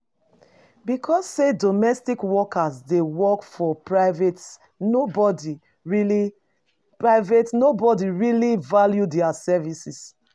Because sey domestic worker dey work for private nobodi really private nobodi really value their services